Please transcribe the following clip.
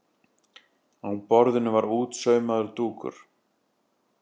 Á borðinu var útsaumaður dúkur.